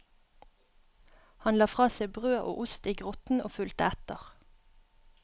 Han la fra seg brød og ost i grotten og fulgte etter.